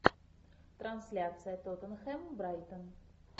трансляция тоттенхэм брайтон